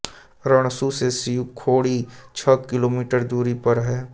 रणसू से शिव खोड़ी छह किलोमीटर दूरी पर है